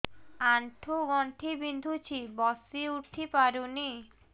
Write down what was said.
ଆଣ୍ଠୁ ଗଣ୍ଠି ବିନ୍ଧୁଛି ବସିଉଠି ପାରୁନି